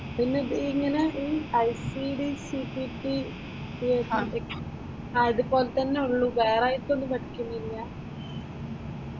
പിന്നെ ഇത് ഇങ്ങനെ ഈ ഐസിഡി, സിപിടി ആ ഇതുപോലെ തന്നെ ഉള്ളു വേറെയായിട്ട് ഒന്നും പഠിക്കുന്നില്ല.